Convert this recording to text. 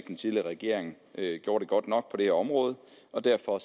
den tidligere regering gjorde det godt nok på det her område og derfor